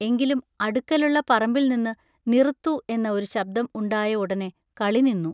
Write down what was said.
എങ്കിലും അടുക്കലുള്ള പറമ്പിൽനിന്നു നിറുത്തു" എന്ന ഒരു ശബ്ദം ഉണ്ടായ ഉടനെ കളിനിന്നു.